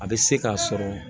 A bɛ se k'a sɔrɔ